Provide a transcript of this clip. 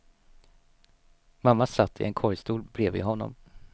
Mamma satt i en korgstol bredvid honom.